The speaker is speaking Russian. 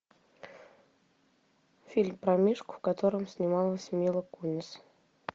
фильм про мишку в котором снималась мила кунис